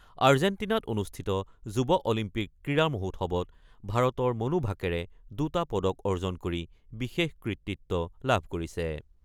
আৰ্জেণ্টিনাত অনুষ্ঠিত যুৱ অলিম্পিক ক্ৰীড়া মহোৎসৱত ভাৰতৰ মনু ভাকেৰে দুটা পদক অৰ্জন কৰি বিশেষ কৃতিত্ব লাভ কৰিছে।